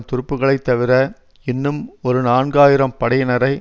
துருப்புக்களைத் தவிர இன்னும் ஒரு நான்கு ஆயிரம் படையினரை